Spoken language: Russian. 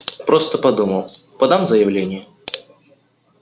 просто подумал подам заявление